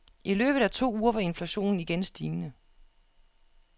I løbet af to uger var inflationen igen stigende.